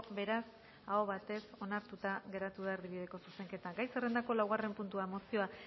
beraz aho batez onartuta geratu da erdibideko zuzenketa gai zerrendako laugarren puntua mozioa